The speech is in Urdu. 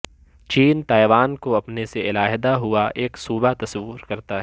چین تائیوان کو اپنے سے علیحدہ ہوا ایک صوبہ تصور کرتا ہے